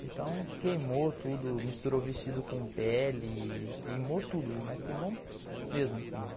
Então queimou tudo, misturou vestido com pele, queimou tudo, mas queimou mesmo assim assim.